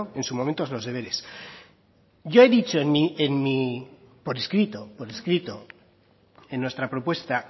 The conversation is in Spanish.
en su momento los deberes yo he dicho por escrito en nuestra propuesta